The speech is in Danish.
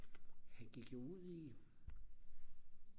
han gik jo ud i